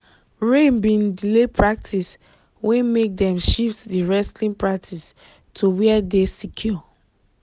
rain bin delay practice wey make dem shift di wrestling practice to where dey secure